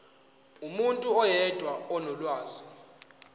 umuntu oyedwa onolwazi